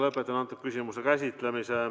Lõpetan selle küsimuse käsitlemise.